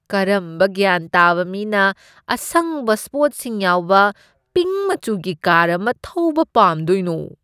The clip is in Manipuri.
ꯀꯔꯝꯕ ꯒ꯭ꯌꯥꯟ ꯇꯥꯕ ꯃꯤꯅ ꯑꯁꯪꯕ ꯁ꯭ꯄꯣꯠꯁꯤꯡ ꯌꯥꯎꯕ ꯄꯤꯡꯛ ꯃꯆꯨꯒꯤ ꯀꯥꯔ ꯑꯃ ꯊꯧꯕ ꯄꯥꯝꯗꯣꯏꯅꯣ?